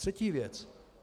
Třetí věc.